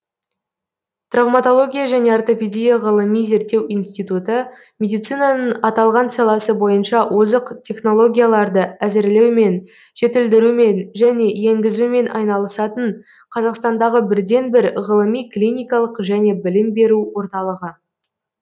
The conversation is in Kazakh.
травматология және ортопедия ғылыми зерттеу институты медицинаның аталған саласы бойынша озық технологияларды әзірлеумен жетілдірумен және енгізумен айналысатын қазақстандағы бірден бір ғылыми клиникалық және білім беру орталығы